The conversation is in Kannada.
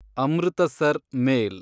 ಅಮೃತಸರ್ ಮೇಲ್